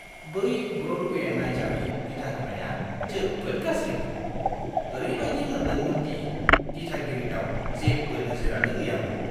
बै ब्र'डवे नायजाबनि दिथाहोनाया जोबोद गाज्रिमोन। ओरैबायदि मोनदोंमोन दि दिथागिरिनाव जेबो नोजोरानो गैयामोन!